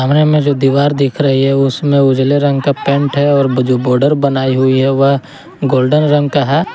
में जो दीवार दिख रही है उसमें उजले रंग का पेंट है और जो बॉर्डर बनाई हुई है वह गोल्डन रंग का है।